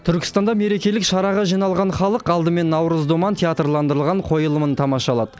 түркістанда мерекелік шараға жиналған халық алдымен наурыз думан театрландырылған қойылымын тамашалады